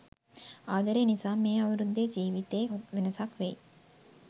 ආදරය නිසාම මේ අවුරුද්දේ ජීවිතේ වෙනසක් වෙයි.